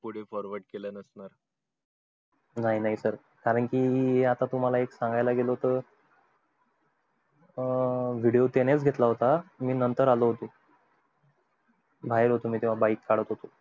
कोणी forword केलं नसणार नाही नाही आता तुम्हला एक सांगायला गेलो त अं video त्यांनी च घेतला होता मी नंतर आलो होतो बाहेर होतो तेव्हा मी bike चालवत होतो